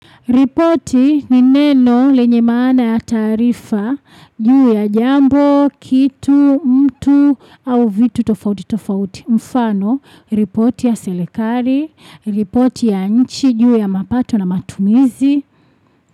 Ripoti ni neno lenye maana ya tarifa, juu ya jambo, kitu, mtu, au vitu tofauti tofauti. Mfano, ripoti ya selekari, ripoti ya nchi, juu ya mapato na matumizi.